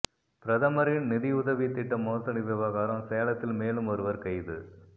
பிரதமரின் நிதியுதவித் திட்ட மோசடி விவகாரம் சேலத்தில் மேலும் ஒருவா் கைது